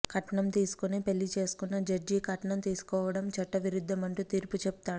కట్నం తీసుకొనే పెళ్ళి చేసుకున్న జడ్జి కట్నం తీసుకోవడం చట్ట విరుద్ధమంటూ తీర్పు చెపుతాడు